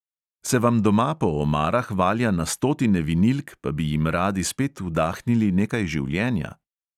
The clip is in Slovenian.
Se vam doma po omarah valja na stotine vinilk, pa bi jim radi spet vdahnili nekaj življenja?